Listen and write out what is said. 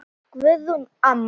Guðrún amma.